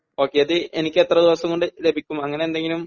Okay അത് എനിക്ക് എത്ര ദിവസം കൊണ്ട് ലഭിക്കും? അങ്ങനെ എന്തെങ്കിലും